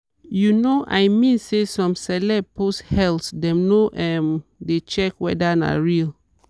you know i mean say some celeb post health dem no um dey check weda na real.